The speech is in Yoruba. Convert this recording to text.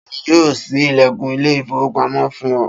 Ta ni yóò ṣí ilẹ̀kùn ilé-ìfowópamọ́sí fún ọ?